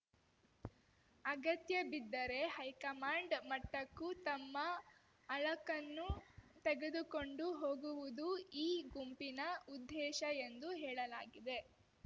ಅಗತ್ಯಬಿದ್ದರೆ high command ಮಟ್ಟಕ್ಕೂ ತಮ್ಮ ಅಳಕನ್ನು ತೆಗೆದುಕೊಂಡು ಹೋಗುವುದು ಈ ಗುಂಪಿನ ಉದ್ದೇಶ ಎಂದು ಹೇಳಲಾಗಿದೆ